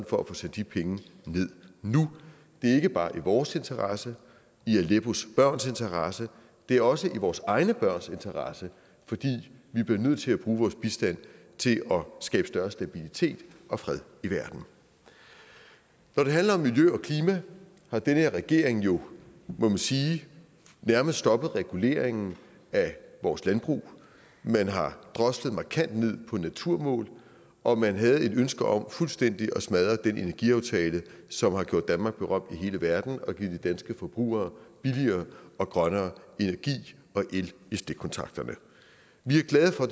for at få sendt de penge ned nu det er ikke bare i vores interesse i aleppos børns interesse det er også i vores egne børns interesse fordi vi bliver nødt til at bruge vores bistand til at skabe større stabilitet og fred i verden når det handler om miljø og klima har den her regering jo må man sige nærmet stoppet reguleringen af vores landbrug man har droslet markant ned på naturmål og man havde et ønske om fuldstændig at smadre den energiaftale som har gjort danmark berømt i hele verden og givet de danske forbrugere billigere og grønnere energi og el i stikkontakterne vi er glade for